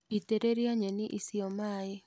Itĩrĩria nyeni icio maĩ